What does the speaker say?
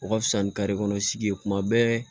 O ka fisa ni kare kɔnɔ sigi ye kuma bɛɛ